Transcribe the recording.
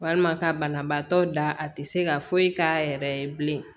Walima ka banabaatɔ da a tɛ se ka foyi k'a yɛrɛ ye bilen